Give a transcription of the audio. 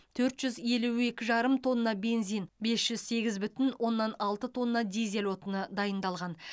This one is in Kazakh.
төрт жүз елу екі жарым тонна бензин бес жүз сегіз бүтін оннан алты тонна дизель отыны дайындалған